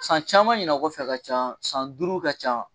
San caman ɲina kɔfɛ ka ca san duuru ka ca.